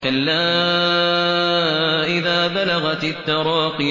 كَلَّا إِذَا بَلَغَتِ التَّرَاقِيَ